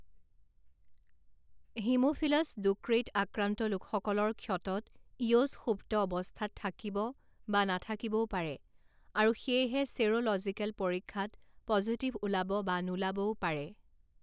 Haemophilus ducreyi আক্ৰান্ত লোকসকলৰ ক্ষতত ইয়'ছ সুপ্ত অৱস্থাত থাকিব বা নাথাকিবও পাৰে, আৰু সেয়েহে ছেৰ'লজিকেল পৰীক্ষাত পজিটিভ ওলাব বা নোলাবও পাৰে।